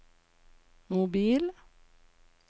mobil